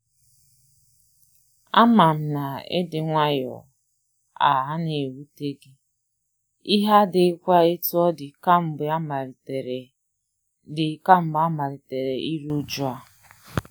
Ama m na ịdị nwayọ a anaghị ewute gị, ihe adighịkwa etu ọ dị kamgbe amalitere dị kamgbe amalitere iru uju a.